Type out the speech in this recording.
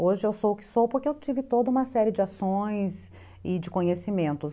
Hoje eu sou o que sou porque eu tive toda uma série de ações e de conhecimentos.